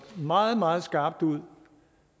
meget meget skarpt ud